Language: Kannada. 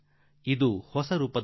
ಇದು ಹೊಸ ರೂಪದ ಮೋಸ ವಂಚನೆ